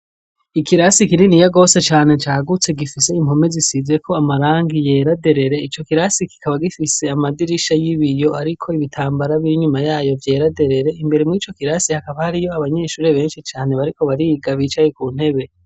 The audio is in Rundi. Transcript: Ikirasi kinini ya gose cyane cyagutse gifise impome zisize ko amarangi yeraderere icyo kirasi kikaba gifise amadirisha y'ibiyo ariko ibitambara birnyuma yayo byeraderere imbere mu icyo kirasi hakaba hari yo abanyeshuri benshi cyane bariko bariga bicaye ku ntebe.